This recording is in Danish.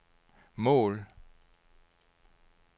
mål